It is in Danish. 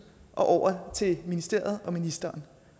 og over til ministeriet og ministeren